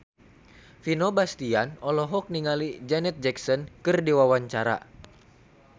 Vino Bastian olohok ningali Janet Jackson keur diwawancara